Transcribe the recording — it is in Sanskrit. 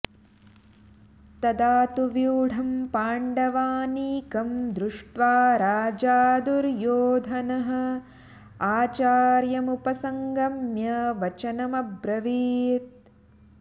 तदा तु व्यू्ढं पाण्डवानीकं दृष्ट्वा राजा दुर्योधनः आचार्यम् उपसङ्गम्य वचनम् अब्रवीत्